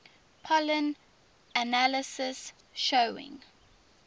pollen analysis showing